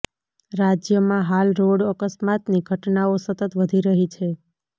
રાજ્યમાં હાલ રોડ અકસ્માતની ઘટનાઓ સતત વધી રહી છે